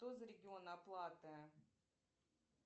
что за регион оплаты